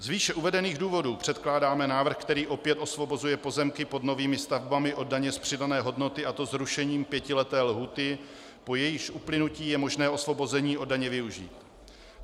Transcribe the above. Z výše uvedených důvodů předkládáme návrh, který opět osvobozuje pozemky pod novými stavbami od daně z přidané hodnoty, a to zrušením pětileté lhůty, po jejímž uplynutí je možné osvobození od daně využít.